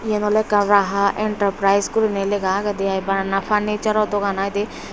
eyan oley ekkan raha enterprise guri nai laygaa agey aai bana furniture ro dogan aai dey.